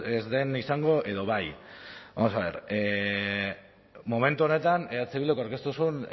ez den izango edo bai vamos a ver momentu honetan eh bilduk aurkeztu zuen